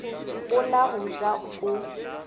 go la go ja o